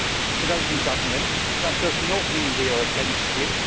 To those in government, that does not mean that we are against you.